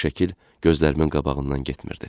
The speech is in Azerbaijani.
Bu şəkil gözlərimin qabağından getmirdi.